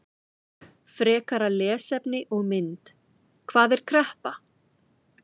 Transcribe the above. Frekara lesefni og mynd: Hvað er kreppa?